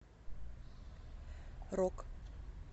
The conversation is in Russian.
рок